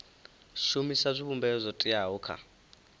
shumisa zwivhumbeo zwo teaho kha